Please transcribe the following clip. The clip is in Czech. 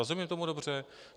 Rozumím tomu dobře?